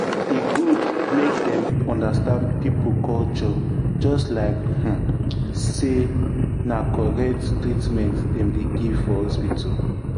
e good make dem understand people culture just like um say na correct treatment dem dey give for hospital.